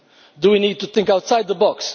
Do we need to think outside the box?